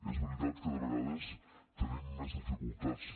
és veritat que de vegades tenim més dificultats